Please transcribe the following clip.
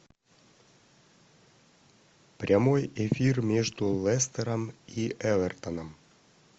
прямой эфир между лестером и эвертоном